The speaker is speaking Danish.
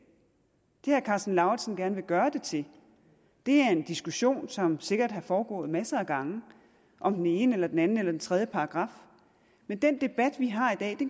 herre karsten lauritzen gerne vil gøre det til er en diskussion som sikkert har foregået masser af gange om den ene eller den anden eller den tredje paragraf men den debat vi har i dag